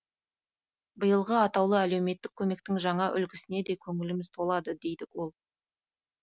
биылғы атаулы әлеуметтік көмектің жаңа үлгісіне де көңіліміз толады дейді ол